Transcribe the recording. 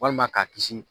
Walima k'a kisi